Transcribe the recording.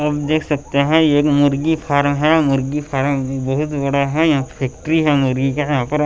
आप देख सकते हैं ये एक मुर्गी फार्म है मुर्गी फार्म बहुत बड़ा है यह फैक्ट्री है मुर्गी का यहाँ पर --